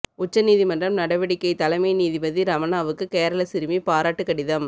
உச்ச நீதிமன்றம் நடவடிக்கை தலைமை நீதிபதி ரமணாவுக்கு கேரள சிறுமி பாராட்டு கடிதம்